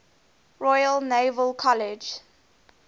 royal naval college